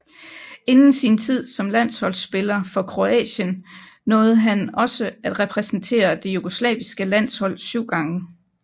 Inden sin tid som landsholdsspiller for Kroatien nåede han også at repræsentere det jugoslaviske landshold syv gange